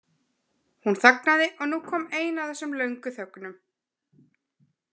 Hún þagnaði og nú kom ein af þessum löngu þögnum.